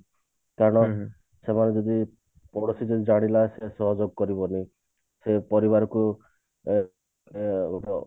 କାରଣ ସେମାନେ ଯଦି ଜାଣିଲା ସେ ସହଯୋଗ କରିବନି ସେ ପରିବାରକୁ ଅ ଅ